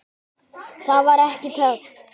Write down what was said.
Það var ekki töff.